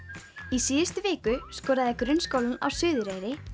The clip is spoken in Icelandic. í síðustu viku skoraði Grunnskólinn á Suðureyri